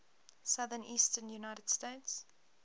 southeastern united states